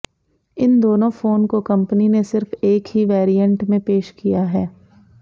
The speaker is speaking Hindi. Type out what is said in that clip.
इन दोनों फोन को कंपनी ने सिर्फ एक ही वेरिएंट में पेश किया है